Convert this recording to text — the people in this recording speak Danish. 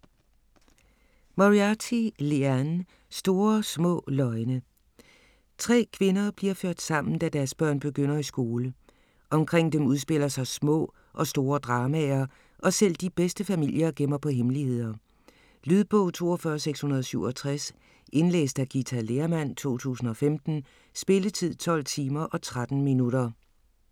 Moriarty, Liane: Store små løgne Tre kvinder bliver ført sammen, da deres børn begynder i skole. Omkring dem udspiller sig små og store dramaer, og selv de bedste familier gemmer på hemmeligheder. Lydbog 42667 Indlæst af Githa Lehrmann, 2015. Spilletid: 12 timer, 13 minutter.